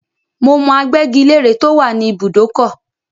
Mo mọ agbẹ́gi-lére tó wà ní ìbùdókọ̀.